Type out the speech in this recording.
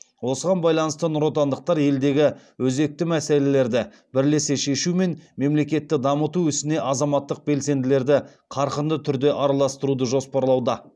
осыған байланысты нұротандықтар елдегі өзекті мәселелерді бірлесе шешу мен мемлекетті дамыту ісіне азаматтық белсенділерді қарқынды түрде араластыруды жоспарлауда